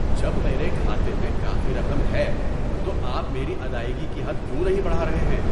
جب میرے کھاتے میں کافی رقم ہے تو آپ میری ادائیگی کی حد کیوں نہیں بڑھا رہے ہیں؟